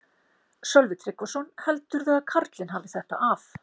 Sölvi Tryggvason: Heldurðu að karlinn hafi þetta af?